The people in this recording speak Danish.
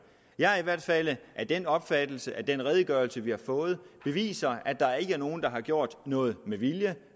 jeg er i hvert fald af den opfattelse at den redegørelse vi har fået beviser at der ikke er nogen der har gjort noget med vilje at